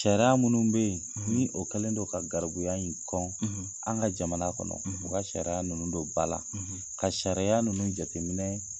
Sariya minnu bɛ yen, , ni o kɛlen don ka garibuya in kɔn , ,an ka jamana kɔnɔ, u ka sariya ninnu don ba la , ,ka caya ninnu jateminɛ